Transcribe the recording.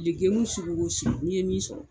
lekɛmu sugu o sugu n'i ye min sɔrɔ.